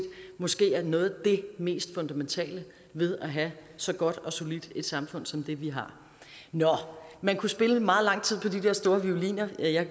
måske er noget af det mest fundamentale ved at have så godt og solidt et samfund som det vi har nå man kunne spille i meget lang tid på de der store violiner og jeg